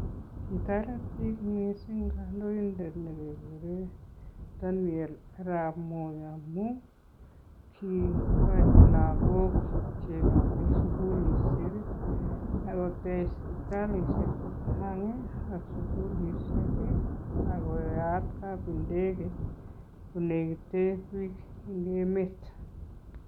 Kitoret biik mising kandoindet ne keguren Daniel Arap Moi amun: kiigochi lagok chego en sukulishek, akotech sipitalisiek chechang, ak sugulishek ii, akoyaat kapindege ole biik en emet.